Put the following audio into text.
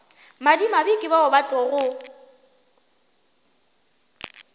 madimabe ke bao e tlogo